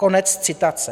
Konec citace.